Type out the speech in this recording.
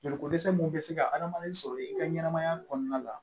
Joliko dɛsɛ mun bɛ se ka adamaden sɔrɔ i ka ɲɛnɛmaya kɔnɔna la